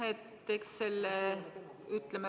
Aitäh!